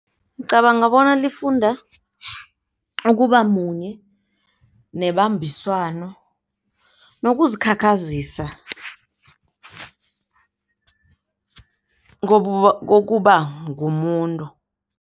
Ngicabanga bona lifunda ukuba munye nebambiswano nokuzikhakhazisa kokuba ngumuntu.